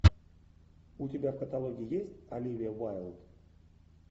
у тебя в каталоге есть оливия уайлд